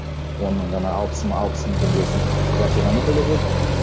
оның жаңа алпыс мың алпыс мың теңгесін квартирама төлеп жүрдік